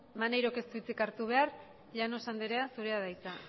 maneirok ez du hitzik hartu behar llanos andrea zurea da hitza